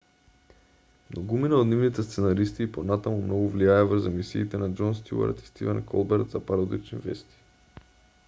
многумина од нивните сценаристи и понатаму многу влијаеа врз емисиите на џон стјуарт и стивен колберт за пародични вести